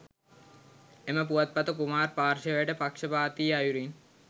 එම පුවත්පත කුමාර් පාර්ශ්වයට පක්ෂපාතී අයුරින්